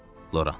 Loran.